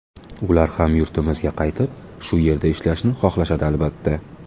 Ular ham yurtimizga qaytib, shu yerda ishlashni xohlashadi albatta.